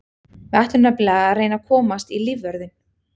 Við ætlum nefnilega að reyna að komast í lífvörðinn.